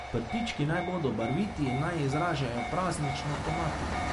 Prtički naj bodo barviti in naj izražajo praznično tematiko.